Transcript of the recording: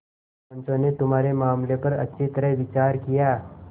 पंचों ने तुम्हारे मामले पर अच्छी तरह विचार किया